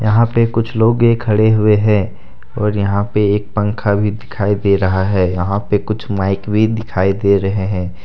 यहां पे कुछ लोगे खड़े हुए हैं और यहां पे एक पंखा भी दिखाई दे रहा हैयहां पे कुछ माइक भी दिखाई दे रहे हैं।